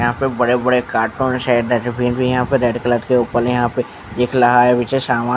यहाँ पे बड़े-बड़े कार्टून्स है डस्टबिन भी यहाँ पे रेड कलर के ऊपर यहाँ पे दिख लहा है पीछे सामान--